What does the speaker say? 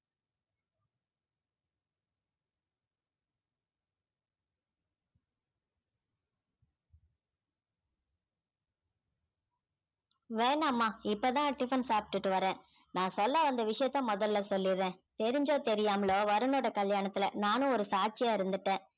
வேணாம்மா இப்பதான் tiffin சாப்பிட்டுட்டு வர்றேன் நான் சொல்ல வந்த விஷயத்தை முதலில் சொல்லிடுறேன் தெரிஞ்சோ தெரியாமலோ வருணோட கல்யாணத்துல நானும் ஒரு சாட்சியா இருந்துட்டேன்